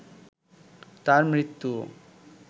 তার মৃত্যুও